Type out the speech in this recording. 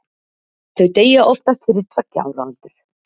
Þau deyja oftast fyrir tveggja ára aldur.